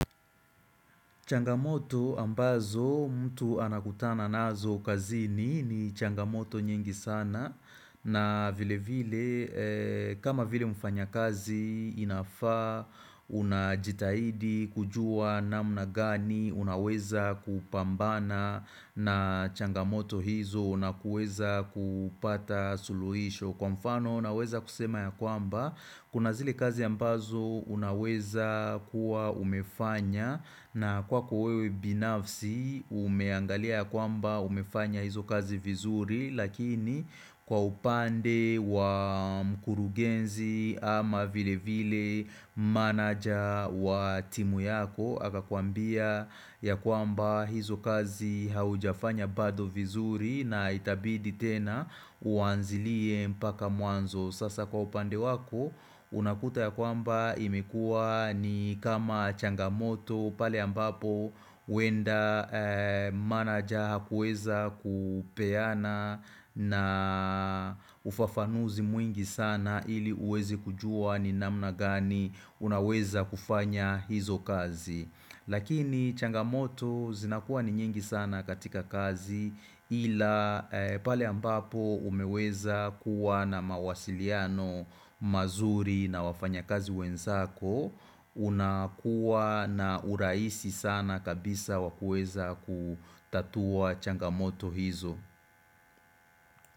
Changamoto ambazo mtu anakutana nazo kazini ni changamoto nyingi sana na vile vile kama vile mfanyakazi inafaa unajitahidi kujua namna gani unaweza kupambana na changamoto hizo unakuweza kupata suluhisho. Kwa mfano unaweza kusema ya kwamba kuna zile kazi ambazo unaweza kuwa umefanya na kwako wewe binafsi umeangalia ya kwamba umefanya hizo kazi vizuri lakini kwa upande wa mkurugenzi ama vile vile manager wa timu yako akakuambia ya kwamba hizo kazi haujafanya bado vizuri na itabidi tena uanzilie mpaka muanzo Sasa kwa upande wako unakuta ya kwamba imekua ni kama changamoto pale ambapo huenda manager hakuweza kupeana na ufafanuzi mwingi sana ili uweze kujua ni namna gani unaweza kufanya hizo kazi Lakini changamoto zinakuwa ni nyingi sana katika kazi ila pale ambapo umeweza kuwa na mawasiliano mazuri na wafanyakazi wenzako unakuwa na uraisi sana kabisa wa kueza kutatua changamoto hizo.